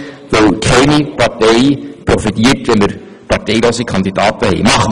Schliesslich profitiert keine Partei davon, wenn wir parteilose Kandidaten wählen.